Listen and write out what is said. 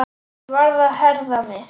Ég varð að herða mig.